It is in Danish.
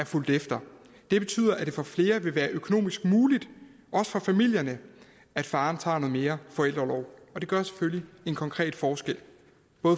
fulgt efter det betyder at det for flere vil være økonomisk muligt også for familierne at faderen tager noget mere forældreorlov det gør selvfølgelig en konkret forskel